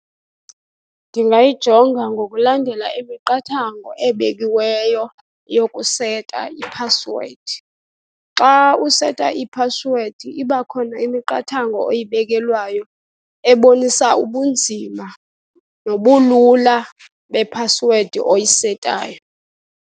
Ndingayijonga ngokulandela imiqathango ebekiweyo yokuseta iphasiwedi. Xa useta iphasiwedi iba khona imiqathango oyibekelwayo ebonisa ubunzima nobulula bephasiwedi oyisetayo.